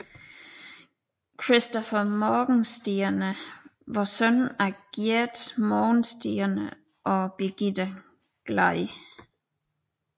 Christopher Morgenstierne var søn af Giert Morgenstierne og Birgitte Glad